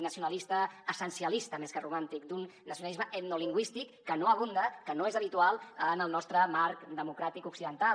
nacionalista essencialista més que romàntic d’un nacionalisme etnolingüístic que no abunda que no és habitual en el nostre marc democràtic occidental